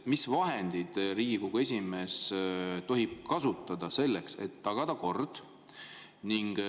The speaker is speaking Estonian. Mis vahendeid Riigikogu esimees tohib kasutada selleks, et tagada kord?